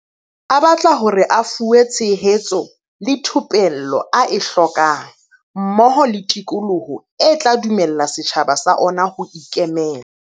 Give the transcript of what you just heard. A batla hore a fuwe tshe hetso le thupello a e hlokang mmoho le tikoloho e tla dumella setjhaba sa ona ho ikemela.